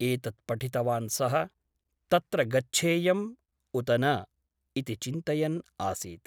एतत् पठितवान् सः , तत्र गच्छेयम् उत न इति चिन्तयन् आसीत् ।